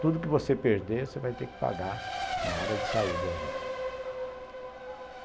Tudo que você perder, você vai ter que pagar na hora de sair do exército.